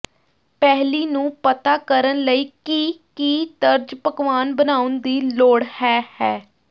ਪਹਿਲੀ ਨੂੰ ਪਤਾ ਕਰਨ ਲਈ ਕਿ ਕੀ ਤਰਜ ਪਕਵਾਨ ਬਣਾਉਣ ਦੀ ਲੋੜ ਹੈ ਹੈ